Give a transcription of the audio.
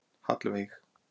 Hallveig